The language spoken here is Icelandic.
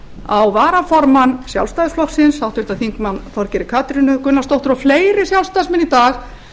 á varaformann sjálfstæðisflokksins háttvirtur þingmaður þorgerði katrínu gunnarsdóttur og fleiri sjálfstæðismenn í dag